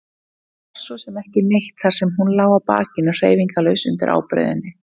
Hún var svo sem ekki neitt þar sem hún lá á bakinu hreyfingarlaus undir ábreiðunni.